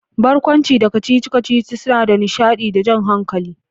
Barkwanci da kacici-kacici suna da nishadi da jan hankali.